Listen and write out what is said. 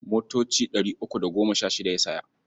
Motoci ɗari uku da goma sha shida ya saya.